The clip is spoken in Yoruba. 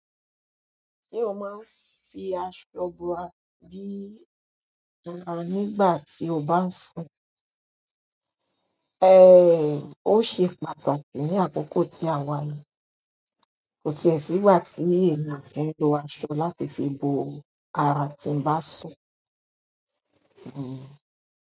Ṣé o máa ń fi aṣọ bo ara bí nígbà tí o bá ń sùn? Ehn, ó ṣe pàtàkì ní àkókò tí àwa yi. Kò tí ẹ̀ sígbà tí èmi o kin lo aṣọ láti fi bo ara nígbà tí ń bá sùn. Hmm.